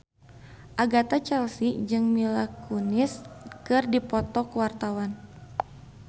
Agatha Chelsea jeung Mila Kunis keur dipoto ku wartawan